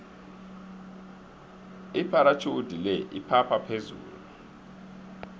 ipharatjhudi le iphapha phezulu